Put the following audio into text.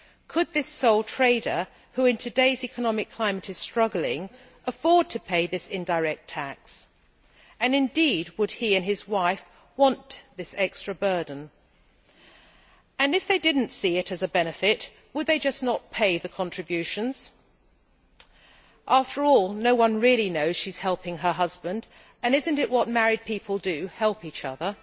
Could this sole trader, who in today's economic climate is struggling, afford to pay this indirect tax, and indeed would he and his wife want this extra burden? If they didn't see it as a benefit, would they just not pay the contributions after all, no one really knows she is helping her husband and is this not what married people do, help each other?